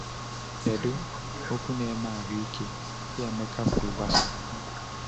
Kedu “okwu na-eme ahụ ike” ndị Emeka kwuru gbasara ha?